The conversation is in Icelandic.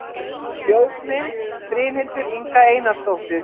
Ljósmynd: Brynhildur Inga Einarsdóttir